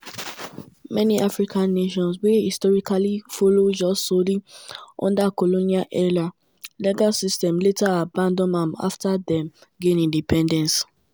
many african nations wey historically follow jus soli under colonial-era legal systems later abandon am afta dem gain independence.